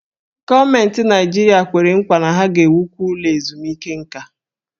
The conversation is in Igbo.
Gọọmenti Naịjirịa kwere nkwa na ha ga-ewukwu ụlọ ezumike nka.